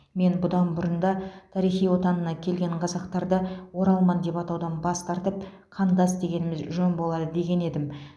мен бұдан бұрын да тарихи отанына келген қазақтарды оралман деп атаудан бас тартып қандас дегеніміз жөн болады деген едім